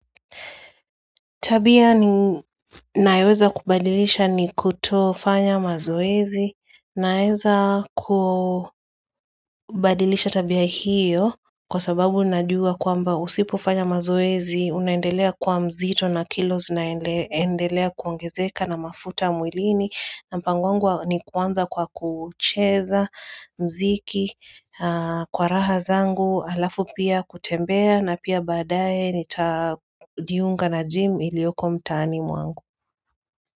Tabia ni nayoweza kubadilisha ni kuto fanya mazoezi naweza kubadilisha tabia hiyo kwa sababu najua kwamba usipo fanya mazoezi unaendelea kuwa mzito na kilo zinaendelea kuongezeka na mafuta mwilini na mpango wangu ni kuanza kwa kucheza mziki kwa raha zangu alafu pia kutembea na pia badae nitajiunga a na jim ilioko mtaani mwangu.